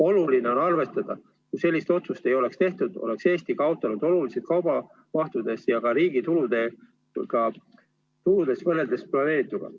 Oluline on arvestada, et kui sellist otsust ei oleks tehtud, oleks Eesti kaotanud olulise osa kaubamahtudest ja ka riigi tuludest võrreldes planeerituga.